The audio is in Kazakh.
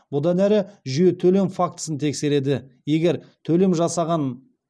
егер төлем жасағаны расталса оған ешқандай шағым болмайды